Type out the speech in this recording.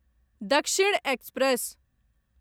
दक्षिण एक्सप्रेस